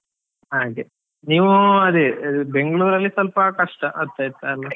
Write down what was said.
ಹಾಗೆ, ನೀವು ಅದೇ, ಬೆಂಗ್ಳುರ್ ಅಲ್ಲಿ ಸ್ವಲ್ಪ ಕಷ್ಟ ಆಗ್ತಾ ಇತ್ ಅಲಾ.